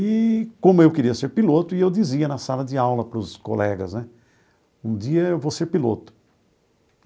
Eee como eu queria ser piloto, e eu dizia na sala de aula para os colegas né, um dia eu vou ser piloto.